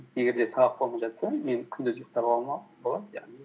егер де сабақ болмай жатса мен күндіз ұйықтап алуыма болады яғни